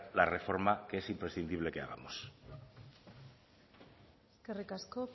la reforma que es imprescindible que hagamos eskerrik asko